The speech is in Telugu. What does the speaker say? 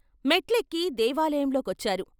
మెట్లెక్కి దేవాలయంలో కొచ్చారు.